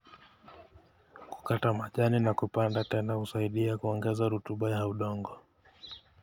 Kukata majani na kupanda tena husaidia kuongeza rutuba ya udongo.